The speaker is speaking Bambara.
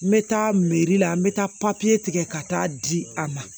N bɛ taa la n bɛ taa tigɛ ka taa di a ma